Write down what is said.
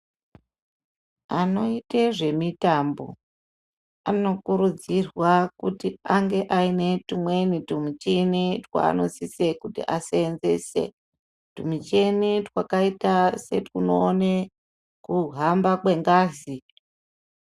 Anoita zve mitambo anokurudzirwa kuti ange ane tumweni twu michini twaano sise kuti asenzese twu michini twakaita se twuno one kuhamba kwe ngazi.